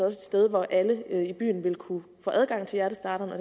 et sted hvor alle i byen vil kunne få adgang til hjertestarteren og